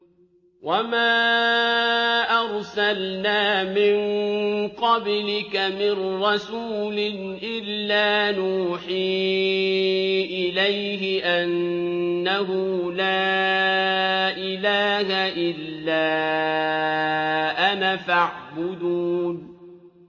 وَمَا أَرْسَلْنَا مِن قَبْلِكَ مِن رَّسُولٍ إِلَّا نُوحِي إِلَيْهِ أَنَّهُ لَا إِلَٰهَ إِلَّا أَنَا فَاعْبُدُونِ